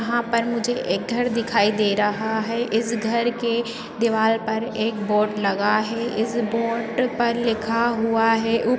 यहा पर मुझे एक घर दिखाई दे रहा है। इस घर के दीवार पर एक बोर्ड लगा है। इस बोर्ड पर लिखा हुआ है। उ --